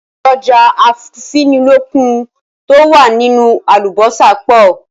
Èròjà afúnilókun to wá nínú àlùbósà pọ̀